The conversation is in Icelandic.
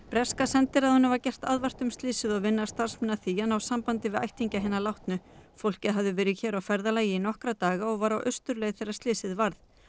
breska sendiráðinu var gert aðvart um slysið og vinna starfsmenn þess að því að ná sambandi við ættingja hinna látnu fólkið hafði verið hér á ferðalagi í nokkra daga og var á austurleið þegar slysið varð